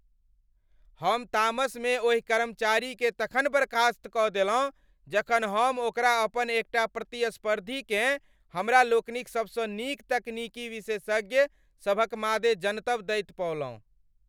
हम तामसमे ओहि कर्मचारीकेँ तखन बर्खास्त कऽ देलहुँ जखन हम ओकरा अपन एकटा प्रतिस्पर्धीकेँ हमरा लोकनिक सबसँ नीक तकनीकी विशेषज्ञ सभक मादे जनतब दैत पौलहुँ।